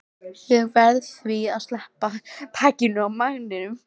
Ég verð því að sleppa takinu á mæninum.